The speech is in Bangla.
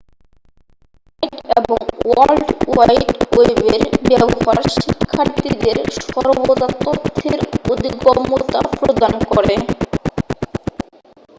ইন্টারনেট এবং ওয়ার্ল্ড ওয়াইড ওয়েবের ব্যবহার শিক্ষার্থীদের সর্বদা তথ্যের অধিগম্যতা প্রদান করে